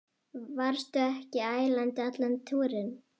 Varstu ekki ælandi allan túrinn?